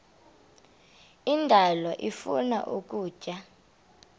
indalo ifuna ukutya